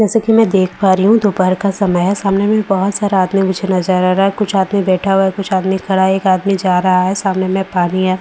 जैसा की मैं देख पा रही हूँ दोपहर का समय है सामने में बहुत सारे आदमी मुझे नजर आ रहा है कुछ आदमी बैठा हुआ है कुछ आदमी खड़ा है एक आदमी जा रहा है सामने में पानी है।